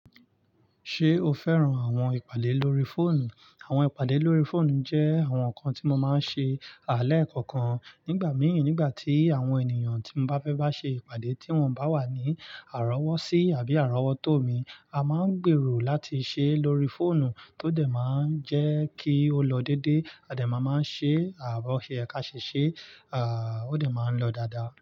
Ṣé o fẹ́ràn àwọn ìpàdé lórí fóònù? Àwọn ìpàdé lórí fóònù jẹ́ àwọn nǹkan tí mo máa ń ṣe lẹ́ kọọkan Nígbà mii, nígbà tí àwọn ènìyàn tí mo bá fẹ́ bá ṣe ìpàdé tí wọ́n bá wà ní àrọ́wọ́sí àbí àrọ́wọ́tó mi, a máa ń gbèrò láti ṣe é lórí fóònù tó dẹ̀ máa ń jẹ́ kí ó lọ dédé, a dẹ̀ máa máa ṣe bó se yẹ ká ṣe ṣe, ó dẹ̀ máa ń lọ dáadáa.